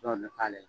Dɔw bɛ k'ale